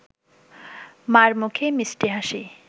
মা’র মুখে মিষ্টি হাসি